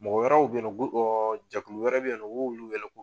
Mɔgɔ wɛrɛw bɛ ye nɔ jɛkulu wɛrɛ bɛ yen u b'olu wele